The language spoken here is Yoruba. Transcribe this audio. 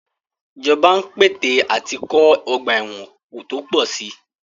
Ìjọba ń pète àti kọ́ ọ̀gba ẹ̀wọn tó pọ̀ sí i.